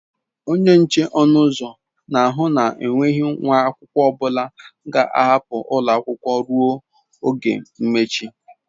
Onye nche ọnụ ụzọ na ahụ na enweghị nwa akwụkwọ ọbụla ga-ahapụ ụlọ akwụkwọ ruo oge mmechi.